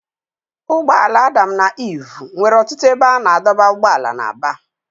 Ụgbọ ala Adam na Iv nwere ọtụtụ ebe a na-adọba ụgbọala na Aba